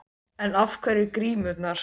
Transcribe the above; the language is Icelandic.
Það breytti skyndilega til með hláku.